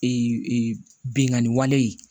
Ee bingani wale